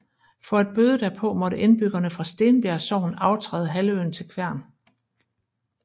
For at bøde derpå måtte indbyggerne fra Stenbjerg Sogn aftræde halvøen til Kværn